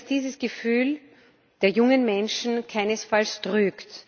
Ich denke, dass dieses Gefühl der jungen Menschen keinesfalls trügt.